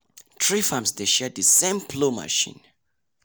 three farms dey share the same plough machine.